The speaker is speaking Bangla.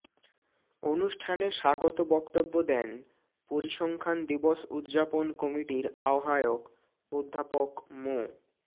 অনুষ্ঠানে স্বাগত বক্তব্য দেন পরিসংখ্যান দিবস উদযাপন কমিটির আহ্বায়ক অধ্যাপক মো